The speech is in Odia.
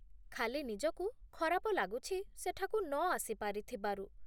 ଖାଲି ନିଜକୁ ଖରାପ ଲାଗୁଛି ସେଠାକୁ ନଆସି ପାରିଥିବାରୁ